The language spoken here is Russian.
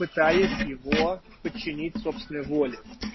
пытаясь его подчинить собственной воле